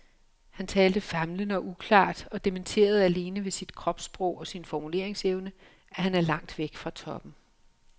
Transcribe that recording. Han talte famlende og uklart og dementerede alene ved sit kropssprog og sin formuleringsevne, at han er langt væk fra toppen.